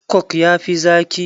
Coke ya fi zaki.